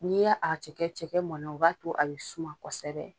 N'i ye'a cɛkɛ cɛkɛ mɔna u b'a to a bɛ suman kosɛbɛ.